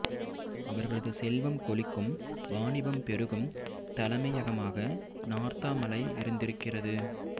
அவர்களது செல்வம் கொழிக்கும் வாணிபம் பெருகும் தலைமையகமாக நார்த்தாமலை இருந்திருக்கிறது